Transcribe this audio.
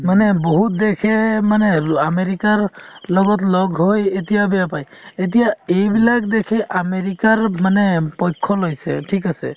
মানে বহুত দেশে মানে ‌ আমেৰিকাৰ লগত লগ হৈ এতিয়া বেয়া পাই এতিয়া এইবিলাক দেশে আমেৰিকাৰ মানে পক্ষ লৈছে ঠিক আছে